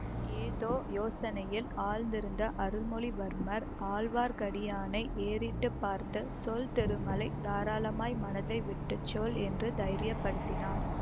ஏதோ யோசனையில் ஆழ்ந்திருந்த அருள்மொழிவர்மர் ஆழ்வார்க்கடியானை ஏறிட்டு பார்த்து சொல் திருமலை தாராளமாய் மனத்தை விட்டுச்சொல் என்று தைரியப்படுத்தினார்